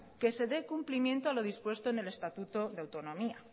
que se dé cumplimiento a lo dispuesto en el estatuto de autonomía